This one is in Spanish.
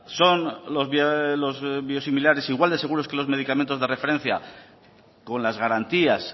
son los biosimilares igual de seguros que los medicamentos de referencia con las garantías